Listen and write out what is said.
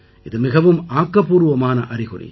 இது மிகவும் ஆக்கப்பூர்வமான அறிகுறி